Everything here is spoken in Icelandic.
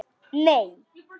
Nei